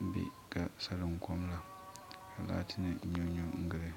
m be ka salinkom la ka laati nima nyonyon n gili.